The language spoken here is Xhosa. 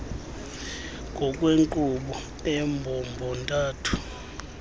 ngokwenkqubo embombo ntathu